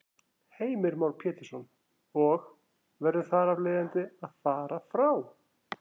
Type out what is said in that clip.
Heimir Már Pétursson: Og verður þar af leiðandi að fara frá?